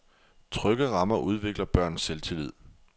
Trygge rammer udvikler børns selvtillid.